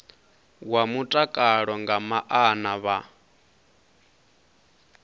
wa mutakalo nga maana vha